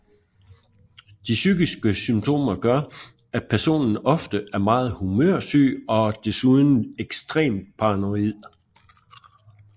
De psykiske symptomer gør at personen ofte er meget humørsyg og desuden ekstremt paranoid